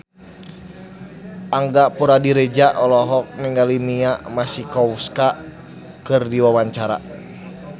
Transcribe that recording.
Angga Puradiredja olohok ningali Mia Masikowska keur diwawancara